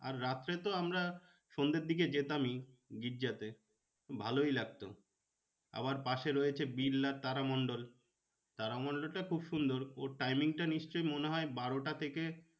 আর রাত্রে তো আমরা সন্ধের দিকে যেতামই গির্জাতে ভালোই লাগতো আবার পাশে রয়েছে বিড়লা তারামণ্ডল, তারামণ্ডলটা খুব সুন্দর ওর timing টা নিশ্চই মনে হয় বারোটা থেকে